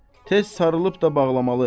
Tez sarılıb da bağlamalı.